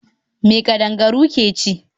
Me kadangaru ke ci?